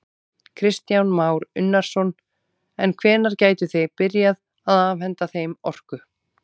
Kristján Már Unnarsson: En hvenær gætuð þið byrjað að afhenta þeim orku?